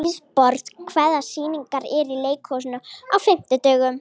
Hugborg, hvaða sýningar eru í leikhúsinu á fimmtudaginn?